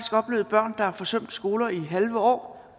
oplevet børn der har forsømt skolegangen i halve år